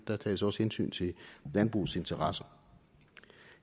der tages også hensyn til landbrugets interesser